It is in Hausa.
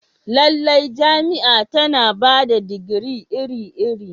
Lallai, jami'a tana ba da digiri iri-iri.